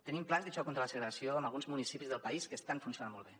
tenim plans de xoc contra la segregació en alguns municipis del país que estan funcionant molt bé